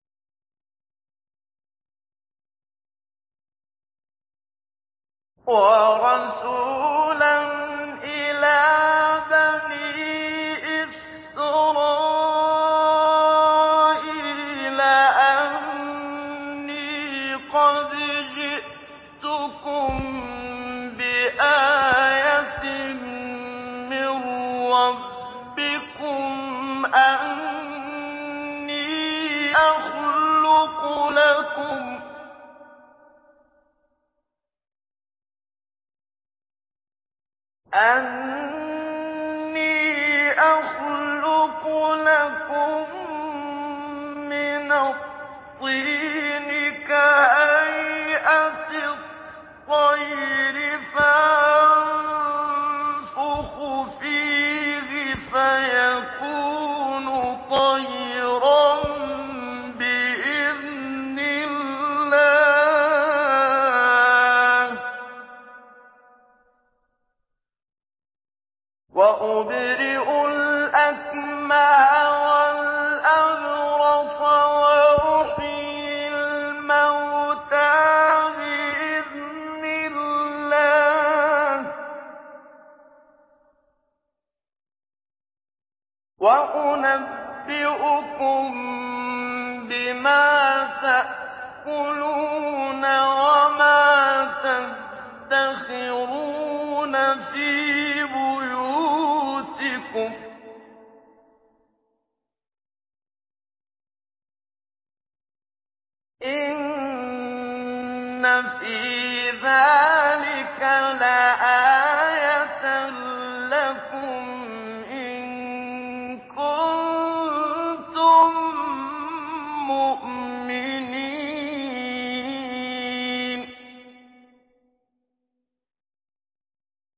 وَرَسُولًا إِلَىٰ بَنِي إِسْرَائِيلَ أَنِّي قَدْ جِئْتُكُم بِآيَةٍ مِّن رَّبِّكُمْ ۖ أَنِّي أَخْلُقُ لَكُم مِّنَ الطِّينِ كَهَيْئَةِ الطَّيْرِ فَأَنفُخُ فِيهِ فَيَكُونُ طَيْرًا بِإِذْنِ اللَّهِ ۖ وَأُبْرِئُ الْأَكْمَهَ وَالْأَبْرَصَ وَأُحْيِي الْمَوْتَىٰ بِإِذْنِ اللَّهِ ۖ وَأُنَبِّئُكُم بِمَا تَأْكُلُونَ وَمَا تَدَّخِرُونَ فِي بُيُوتِكُمْ ۚ إِنَّ فِي ذَٰلِكَ لَآيَةً لَّكُمْ إِن كُنتُم مُّؤْمِنِينَ